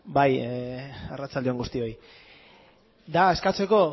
bai arratsalde on guztiei da eskatzeko